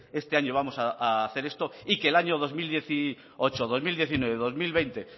este año vamos a hacer esto y que el año dos mil dieciocho dos mil diecinueve y dos mil veinte